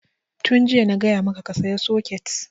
Tun jiya na gaya maka ka saya soket!